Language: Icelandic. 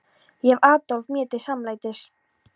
Ég hef Adolf mér til samlætis.